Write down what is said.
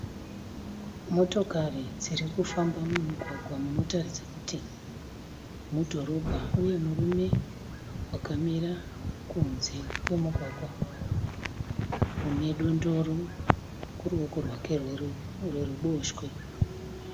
Motikari dziri kufamba mumugwagwa munotaridza kuti mudhorobha uye murume akamira kunze kwemugwagwa ane dondoro muruvoko rwake rweruboshwe.